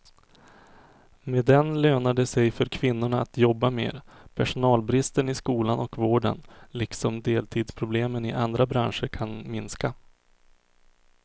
Med den lönar det sig för kvinnorna att jobba mer, personalbristen i skolan och vården liksom deltidsproblemen i andra branscher kan minska.